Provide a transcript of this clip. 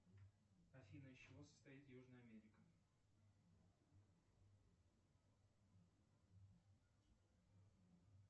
афина из чего состоит южная америка